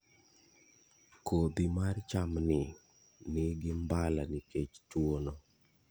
Kodhi mar chamni nigi mbala nikech tuwono.